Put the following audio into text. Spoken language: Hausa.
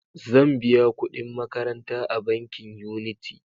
Zan biya kuɗin makaranta a bankin Unity.